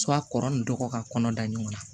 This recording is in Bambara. kɔrɔ ni dɔgɔ ka kɔnɔ da ɲɔgɔn na